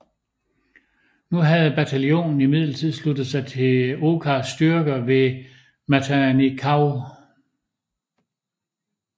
Nu havde bataljonen imidlertid sluttet sig til Okas styrker ved Matanikau